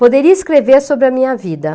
Poderia escrever sobre a minha vida.